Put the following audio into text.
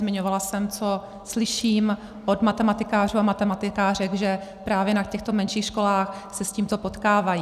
Zmiňovala jsem, co slyším od matematikářů a matematikářek, že právě na těchto menších školách se s tímto potkávají.